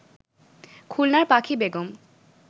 খুলনার পাখি বেগম